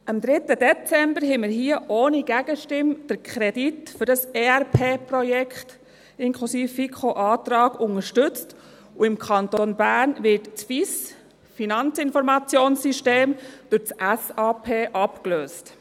Am 3. Dezember unterstützten wir hier ohne Gegenstimme den Kredit für das ERP-Projekt inklusive FiKo-Antrag, und im Kanton Bern wird das FIS durch SAP abgelöst.